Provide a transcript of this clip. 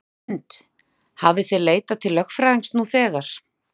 Hrund: Hafið þið leitað til lögfræðings nú þegar?